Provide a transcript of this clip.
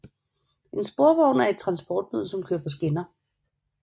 En sporvogn er et transportmiddel som kører på skinner